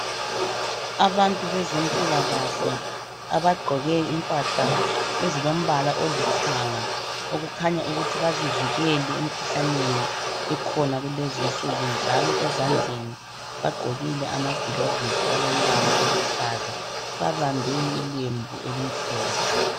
Abantu bezempilakahle abagqoke impahla ezilombala olithanga okukhanya ukuthi bazivikele emkhuhlaneni ekhona kulezinsuku njalo ezandleni bagqokile amagilovisi alombala oluhlaza babambe ilembu elimhlophe.